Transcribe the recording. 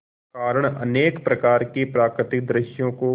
कारण अनेक प्रकार के प्राकृतिक दृश्यों को